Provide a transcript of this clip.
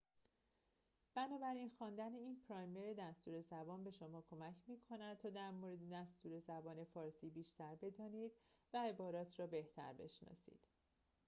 بنابراین خواندن این پرایمر دستور زبان به شما کمک می‌کند تا در مورد دستور زبان فارسی بیشتر بدانید و عبارات را بهتر بشناسید